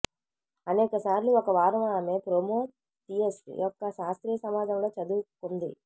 అనేక సార్లు ఒక వారం ఆమె ప్రోమేతియస్ యొక్క శాస్త్రీయ సమాజంలో చదువుకుంది